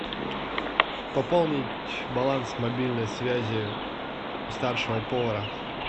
пополнить баланс мобильной связи старшего повара